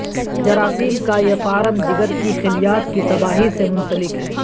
جراثیم کا یہ فارم جگر کی خلیات کی تباہی سے منسلک ہے